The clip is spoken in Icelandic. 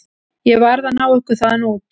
Ég varð að ná ykkur þaðan út.